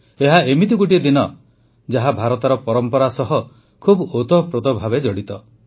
ଏହା ଏମିତି ଗୋଟିଏ ଦିନ ଯାହା ଭାରତର ପରମ୍ପରା ସହ ଖୁବ୍ ଓତଃପ୍ରୋତ ଭାବେ ଜଡ଼ିତ